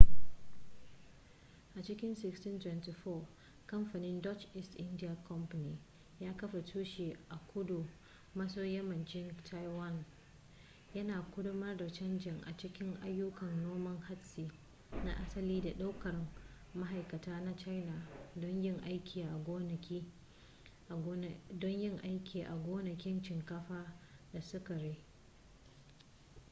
a cikin 1624 kamfanin dutch east india company ya kafa tushe a kudu maso yammacin taiwan yana ƙaddamar da canji a cikin ayyukan noman hatsi na asali da ɗaukar ma'aikata na china don yin aiki a gonakin shinkafa da sukari